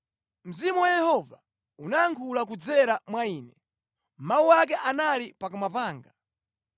“Mzimu wa Yehova unayankhula kudzera mwa ine; mawu ake anali pakamwa panga.